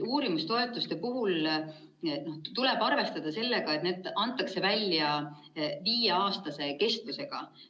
Uurimistoetuste puhul tuleb arvestada sellega, et need antakse välja viieaastase kestusega.